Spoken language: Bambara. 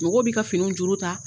Mɔgɔw bi ka finiw juru ta